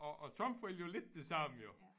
Og og Trump vil jo lidt det samme jo